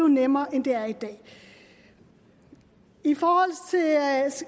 nemmere end det er i dag i forhold